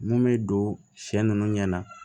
Mun bɛ don sɛ nunnu ɲɛna